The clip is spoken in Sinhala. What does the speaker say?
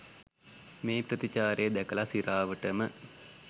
මේ ප්‍රතිචාරය දැකලා සිරාවටම.